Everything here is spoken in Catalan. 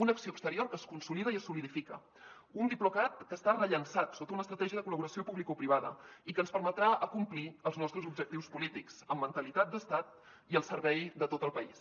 una acció exterior que es consolida i es solidifica un diplocat que està rellançat sota una estratègia de col·laboració publicoprivada i que ens permetrà acomplir els nostres objectius polítics amb mentalitat d’estat i al servei de tot el país